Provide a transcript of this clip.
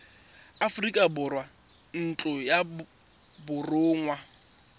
aforika borwa ntlo ya borongwa